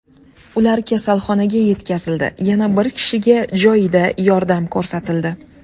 Ular kasalxonaga yetkazildi, yana bir kishiga joyida yordam ko‘rsatildi.